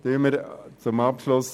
Zum Abschluss